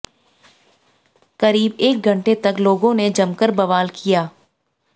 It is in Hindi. करीब एक घंटे तक लोगों ने जमकर बवाल किया